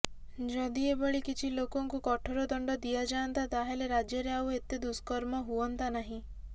ଯଦି ଏଭଳି କିଛି ଲୋକଙ୍କୁ କଠୋର ଦଣ୍ଡ ଦିଆଯାଆନ୍ତା ତାହେଲେ ରାଜ୍ୟରେ ଆଉ ଏତେ ଦୁଷ୍କର୍ମ ହୁଅନ୍ତା ନାହିଁ